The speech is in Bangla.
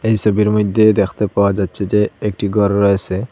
ছবির মইধ্যে দেখতে পাওয়া যাচ্ছে যে একটি ঘর রয়েসে।